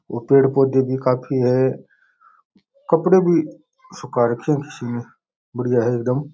और पेड़ पौधे भी काफी है कपड़े भी सूखा राखे है किसी ने बढ़िया है एकदम।